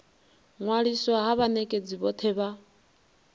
ṅwaliswa ha vhanekedzi vhothe vha